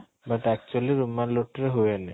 but actually ରୁମାଲ ରୁଟିରେ ହୁଏନି